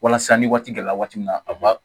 Walasa ni waati dɔ la waati min na